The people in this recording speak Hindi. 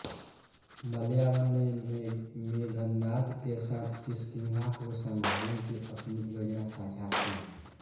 मलयावन ने मेघनाद के साथ किष्किंधा को संभालने की अपनी योजना साझा की